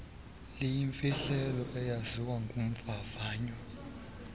likwayimfihlelo eyaziwa ngumvavanywa